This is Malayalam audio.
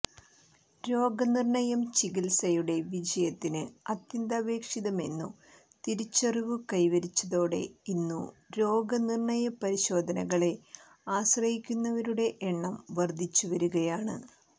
രോഗനിർണയം ചികിൽസയുടെ വിജയത്തിന് അത്യന്താപേക്ഷിതമെന്നു തിരിച്ചറിവു കൈവരിച്ചതോടെ ഇന്നു രോഗനിർണയ പരിശോധനകളെ ആശ്രയിക്കുന്നവരുടെ എണ്ണം വർധിച്ചു വരികയാണ്